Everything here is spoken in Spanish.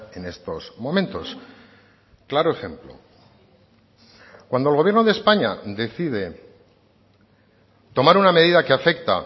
en estos momentos claro ejemplo cuando el gobierno de españa decide tomar una medida que afecta